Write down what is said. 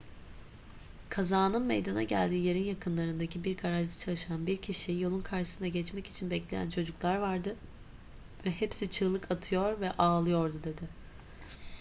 kazanın meydana geldiği yerin yakınlarındaki bir garajda çalışan bir kişi yolun karşısına geçmek için bekleyen çocuklar vardı ve hepsi çığlık atıyor ve ağlıyordu dedi